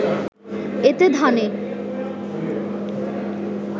এতে ধানে